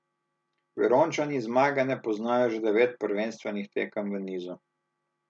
Verončani zmage ne poznajo že devet prvenstvenih tekem v nizu.